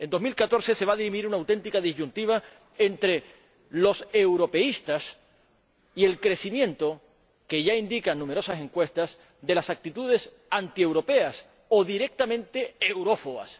En el año 2014 se va a dirimir una auténtica disyuntiva entre los europeístas y el crecimiento —que ya indican numerosas encuestas— de las actitudes antieuropeas o directamente eurófobas.